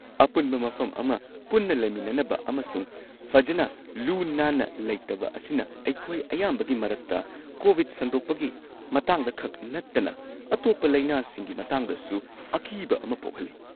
ꯑꯄꯨꯟꯕ ꯃꯐꯝ ꯑꯃ ꯄꯨꯟꯅ ꯂꯩꯃꯤꯟꯅꯅꯕ ꯑꯃꯁꯨꯡ ꯐꯖꯅ ꯂꯨ-ꯅꯥꯟꯅ ꯂꯩꯇꯕ ꯑꯁꯤꯅ ꯑꯩꯈꯣꯏ ꯑꯌꯥꯝꯕꯒꯤ ꯃꯔꯛꯇ, ꯀꯣꯕꯤꯗ ꯁꯟꯗꯣꯛꯄꯒꯤ ꯃꯇꯥꯡꯗ ꯈꯛ ꯅꯠꯇꯅ ꯑꯇꯣꯞꯄ ꯂꯩꯅꯥꯁꯤꯡꯒꯤ ꯃꯇꯥꯡꯗꯁꯨ, ꯑꯀꯤꯕ ꯑꯃ ꯄꯣꯛꯍꯜꯂꯤ꯫